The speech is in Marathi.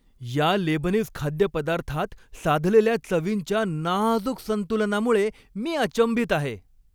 या लेबनीज खाद्यपदार्थात साधलेल्या चवींच्या नाजूक संतुलनामुळे मी अचंबित आहे.